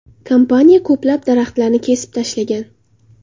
Kompaniya ko‘plab daraxtlarni kesib tashlagan.